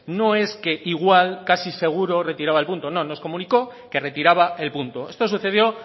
no es que igual casi seguro retiraba el punto no nos comunicó que retiraba el punto esto sucedió